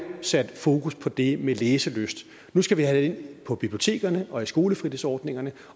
sat fokus på det med læselyst nu skal vi have det ind på bibliotekerne og i skolefritidsordningerne